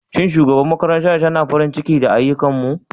Shin shugabar makarantar tana farin ciki da ayyukanmu?